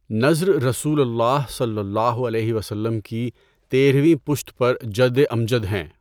نضر رسول اللہ صلی اللہ علیہ وسلم کی تیرھویں پشت پر جد امجد ہیں۔